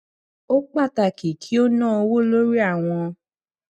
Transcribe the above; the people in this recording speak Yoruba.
ó pàtàkì kí ó ná owó lórí àwọn